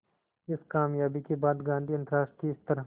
इस क़ामयाबी के बाद गांधी अंतरराष्ट्रीय स्तर